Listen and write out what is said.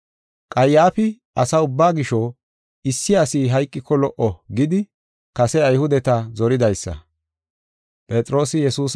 Qayyaafi, “Asa ubbaa gisho, issi asi hayqiko lo77o” gidi kase Ayhudeta zoridaysa.